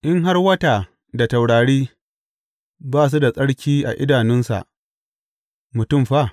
In har wata da taurari ba su da tsarki a idanunsa, mutum fa?